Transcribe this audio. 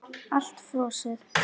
Allt frosið.